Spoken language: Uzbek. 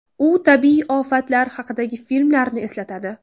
U tabiiy ofatlar haqidagi filmlarni eslatadi.